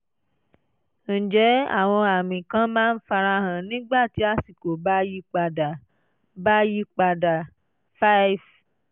ǹjẹ́ àwọn àmì kan máa ń farahàn nígbà tí àsìkò bá yí padà? bá yí padà? 5